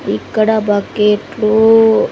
ఇక్కడ బకెట్లు --